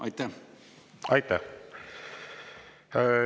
Aitäh!